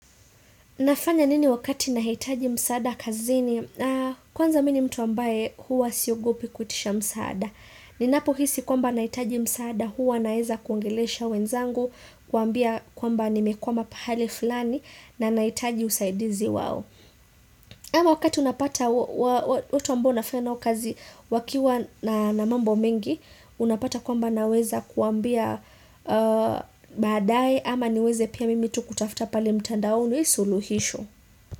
Nafanya nini wakati nahitaji msaada kazini? Kwanza mimi ni mtu ambaye huwa siogopi kuitisha msaada. Ninapo hisi kwamba nahitaji msaada huwa naeza kuongelesha wenzangu, kuambia kwamba nimekwama pahali fulani na nahitaji usaidizi wao. Ama wakati unapata, uwau ambo nafanya nao kazi wakiwa na mambo mengi, unapata kwamba naweza kuambia badae ama niweze pia mimi tu kutafuta pale mtandaoni, suluhisho.